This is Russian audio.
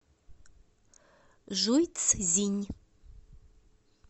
жуйцзинь